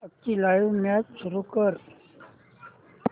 आजची live match सुरू कर